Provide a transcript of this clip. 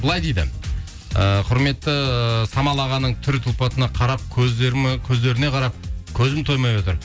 былай дейді ііі құрметті самал ағаның түр тұлпатына қарап көздеріне қарап көзім тоймай отыр